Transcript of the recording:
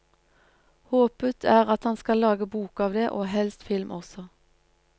Håpet er at han skal lage bok av det og helst film også.